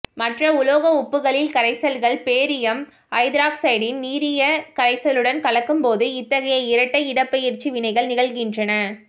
மற்ற உலோக உப்புகளின் கரைசல்கள் பேரியம் ஐதராக்சைடின் நீரிய கரைசலுடன் கலக்கும்போது இத்தகைய இரட்டை இடப்பெயர்ச்சி வினைகள் நிகழ்கின்றன